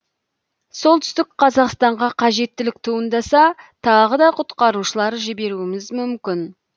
солтүстік қазақстанға қажеттілік туындаса тағы да құтқарушылар жіберуіміз мүмкін